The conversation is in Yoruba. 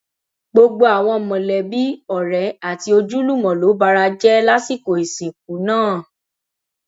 gbogbo àwọn mọlẹbí ọrẹ àti ojúlùmọ ló bara jẹ lásìkò ìsìnkú náà